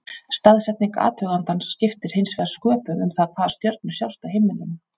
Staðsetning athugandans skiptir hins vegar sköpum um það hvaða stjörnur sjást á himninum.